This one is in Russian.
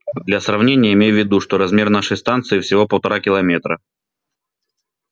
для сравнения имей в виду что размер нашей станции всего полтора километра